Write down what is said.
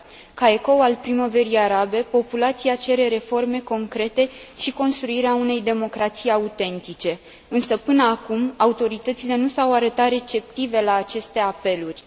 Ca ecou al primăverii arabe, populația cere reforme concrete și construirea unei democrații autentice, însă, până acum, autoritățile nu s au arătat receptive la aceste apeluri.